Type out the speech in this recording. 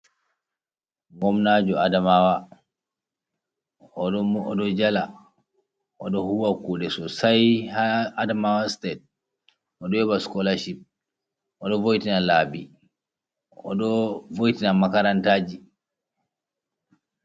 Ngomnajo adamawa o ɗo jala, o ɗo huwa kuɗe sosai ha adamawa state, o ɗo yoɓa scholarship, o ɗo votina labi, o ɗo voitina makarantaji.